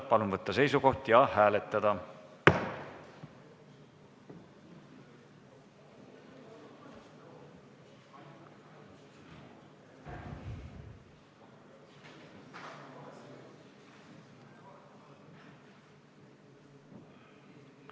Palun võtta seisukoht ja hääletada!